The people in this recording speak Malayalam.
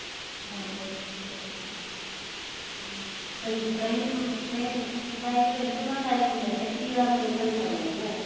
ഓഹ് അത് ശെരി. മ്മ് ഇപ്പൊ ഇത്രയും ഇത്രയും ഇതായിട്ട് എടുക്കുന്നത് കൊണ്ടായിരിക്കും എഫെക്റ്റീവ് ആവുന്ന റിസൾട്ട് ഒള്ളതല്ലെ?